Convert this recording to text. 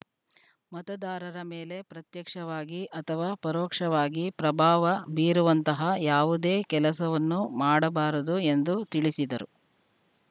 ಮತದಾರರ ಮೇಲೆ ಪ್ರತ್ಯಕ್ಷವಾಗಿ ಅಥವಾ ಪರೋಕ್ಷವಾಗಿ ಪ್ರಭಾವ ಬೀರುವಂತಹ ಯಾವುದೇ ಕೆಲಸವನ್ನು ಮಾಡಬಾರದು ಎಂದು ತಿಳಿಸಿದರು